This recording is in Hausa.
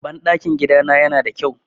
Banɗakin gidana yana da kyau.